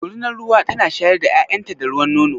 Dorunar ruwa tana shayar da ƴaƴan ta da ruwan nono?